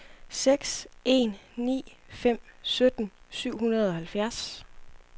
seks en ni fem sytten syv hundrede og halvfjerds